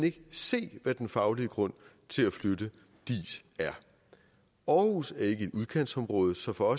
ikke se hvad den faglige grund til at flytte diis er aarhus er ikke et udkantsområde så for